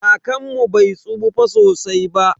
Kakanmu bai tsufa sosai ba.